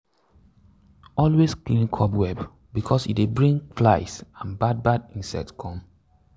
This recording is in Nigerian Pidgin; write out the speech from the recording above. always clean cobweb because e dey bring fly and bad bad insects come.